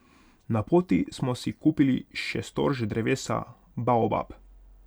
Na poti smo si kupili še storž drevesa Baobab.